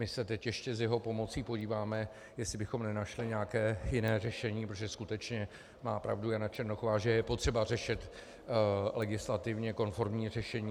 My se teď ještě s jeho pomocí podíváme, jestli bychom nenašli nějaké jiné řešení, protože skutečně má pravdu Jana Černochová, že je potřeba najít legislativně konformní řešení.